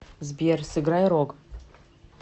сбер сыграй рог